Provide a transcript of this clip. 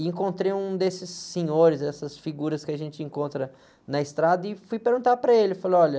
E encontrei um desses senhores, essas figuras que a gente encontra na estrada, e fui perguntar para ele, falei, olha...